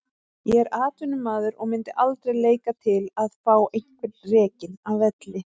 Ég er atvinnumaður og myndi aldrei leika til að fá einhvern rekinn af velli.